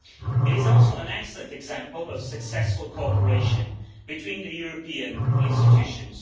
It is also an excellent example of successful cooperation between the European institutions.